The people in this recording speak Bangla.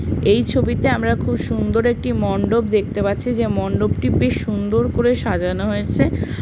এই ছবিতে আমরা খুব সুন্দর একটি মণ্ডপ দেখতে পাচ্ছি যে মন্ডপটি বেশ সুন্দর করে সাজানো হয়েছে।